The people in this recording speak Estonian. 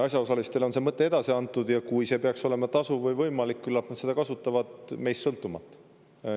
Asjaosalistele on see mõte edasi antud ja kui see peaks olema tasuv või võimalik, küllap nad seda kasutavad, meist sõltumata.